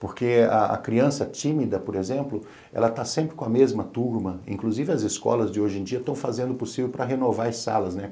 Porque a criança tímida, por exemplo, ela está sempre com a mesma turma, inclusive as escolas de hoje em dia estão fazendo o possível para renovar as salas, né?